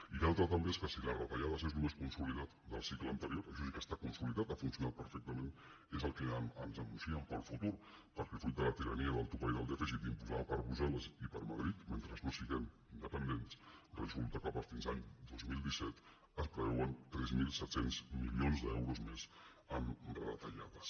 i l’altra també és que si les retallades és el més con·solidat del cicle anterior això sí que està consolidat ha funcionat perfectament és el que ens anuncien per al futur perquè fruit de la tirania del topall del dèficit imposada per brussel·les i per madrid mentre no siguem independents resulta que fins a l’any dos mil disset es preveuen tres mil set cents milions d’euros més en retallades